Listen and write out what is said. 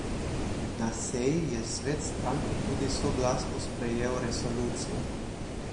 Na seji je svet stranke tudi soglasno sprejel resolucijo.